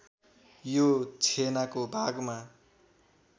यो छेनाको भागमा